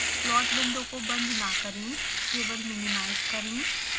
plot window को बंद न करें केवल मिनिमाइज करें